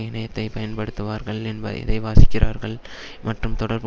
இணையத்தை பயன்படுத்துவார்கள் என்ப எதை வாசிக்கிறார்கள் மற்றும் தொடர்பு